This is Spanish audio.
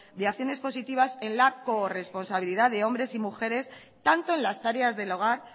de acciones positivas en la corresponsabilidad de hombres y mujeres tanto en las tareas del hogar